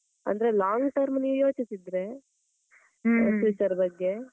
ಅಂದ್ರೆ long term ನೀವ್ ಯೋಚಿಸಿದ್ರೆ future ಬಗ್ಗೆ,